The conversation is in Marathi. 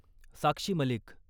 साक्षी मलिक